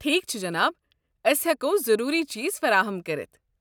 ٹھیٖکھ چھُ، جناب۔ ٲسۍ ہٮ۪کو ضروٗری چیٖز فراہَم کٔرِتھ۔